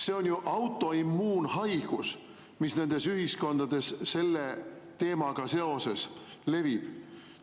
See on autoimmuunhaigus, mis nendes ühiskondades selle teemaga seoses levib.